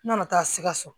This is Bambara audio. N nana taa sikaso